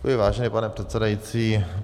Děkuji, vážený pane předsedající.